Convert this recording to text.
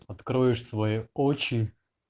откроешь свои очи